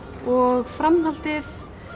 og framhaldið